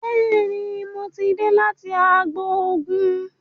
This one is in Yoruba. Béèni mọ tí dé láti àgbò oògùn.